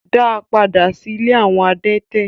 Da padà sí ilé awọn adẹ̀tẹ̀